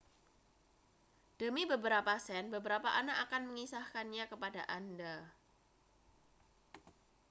demi beberapa sen beberapa anak akan mengisahkannya kepada anda